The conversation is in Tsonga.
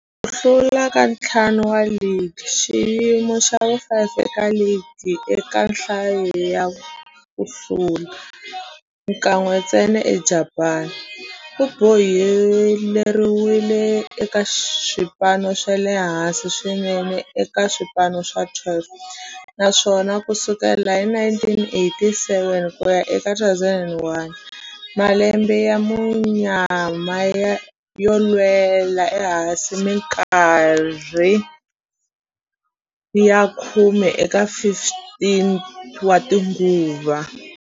Hilaha ndzi nga vona hakona, ku sukela loko ligi yi simekiwile, 1950, phesente hinkwayo ya ku hlula yi le ka xiyimo xa vumbirhi eka ligi, naswona yi tinyungubyisa hi matimba lama tiyeke eka tinguva to tala leti yi ngheneke eka tlilasi ya A.